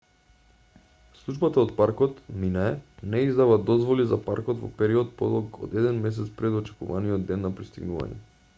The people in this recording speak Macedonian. службата од паркот minae не издава дозволи за паркот во период подолг од еден месец пред очекуваниот ден на пристигнување